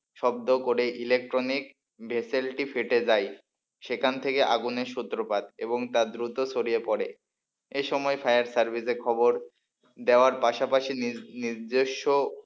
শব্দ করে ইলেকট্রনিক ভেসেলটি ফেটে যায় সেখান থেকে আগুনের সূত্রপাত এবং তার দ্রুত ছড়িয়ে পড়ে এ সময় ফায়ার সার্ভিসের খবর দেওয়ার পাশাপাশি নিজ নিজস্ব,